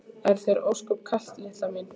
Er þér ósköp kalt litla mín?